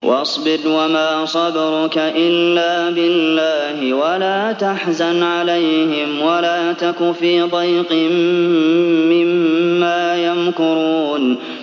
وَاصْبِرْ وَمَا صَبْرُكَ إِلَّا بِاللَّهِ ۚ وَلَا تَحْزَنْ عَلَيْهِمْ وَلَا تَكُ فِي ضَيْقٍ مِّمَّا يَمْكُرُونَ